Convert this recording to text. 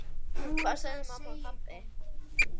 Hvað sögðu mamma og pabbi?